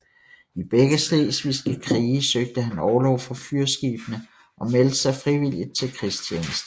I begge Slesvigske krige søgte han orlov fra fyrskibene og meldte sig frivilligt til krigstjeneste